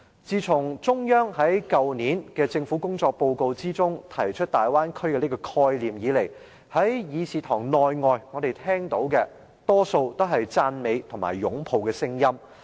自從中央在去年的政府工作報告中，提出大灣區這個概念以來，在議事堂內外，我們聽到的多數都是讚美和擁抱的聲音。